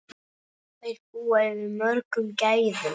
Þær búa yfir mörgum gæðum.